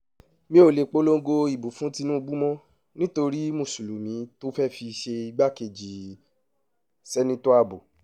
mi ò lè polongo ìbò fún tìǹbù mọ́ nítorí mùsùlùmí tó fẹ́ẹ̀ fi ṣe igbákejì seneto abbo